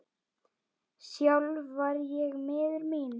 Sjálf var ég miður mín.